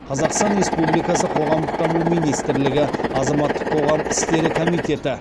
қазақстан республикасы қоғамдық даму министрлігі азаматтық қоғам істері комитеті